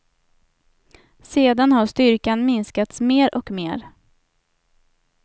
Sedan har styrkan minskats mer och mer.